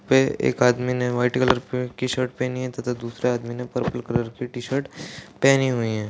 पे एक आदमी ने व्हाइट कलर की शर्ट पहनी है तथा दूसरे आदमी ने पर्पल कलर की टी शर्ट पहनी हुई है।